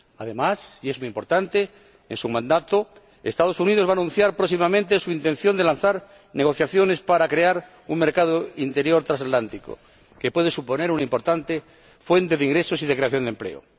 Además, y es muy importante, durante su mandato los Estados Unidos van a anunciar próximamente su intención de lanzar negociaciones para crear un mercado interior transatlántico, que puede suponer una importante fuente de ingresos y de creación de empleo.